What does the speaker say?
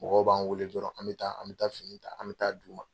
Mɔgɔw b'an wele dɔrɔn an be taa an be taa fini ta an be taa d'u ma.